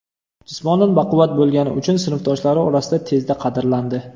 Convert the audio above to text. Jismonan baquvvat bo‘lgani uchun sinfdoshlari orasida tezda qadrlandi.